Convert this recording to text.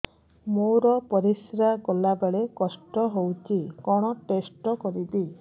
ମୋର ପରିସ୍ରା ଗଲାବେଳେ କଷ୍ଟ ହଉଚି କଣ ଟେଷ୍ଟ କରିବି